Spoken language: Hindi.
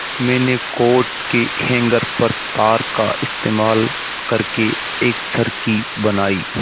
मैंने कोट के हैंगर व तार का इस्तेमाल करके एक चरखी बनाई